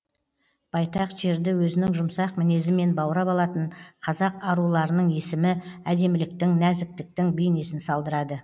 байтақ жерді өзінің жұмсақ мінезімен баурап алатын қазақ аруларының есімі әдеміліктің нәзіктіктің бейнесін салдырады